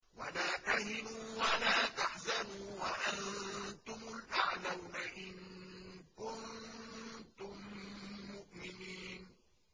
وَلَا تَهِنُوا وَلَا تَحْزَنُوا وَأَنتُمُ الْأَعْلَوْنَ إِن كُنتُم مُّؤْمِنِينَ